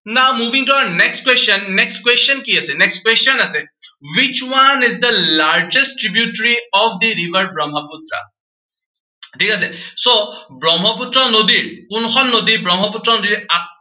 now moving to our next question, next question কি আছে, next question আছে, which one is the largest tributary of the river Brahamaputra ঠিক আছে so Brahmaputra নদীত, কোনখন নদী ব্ৰহ্মপুত্ৰ নদীৰ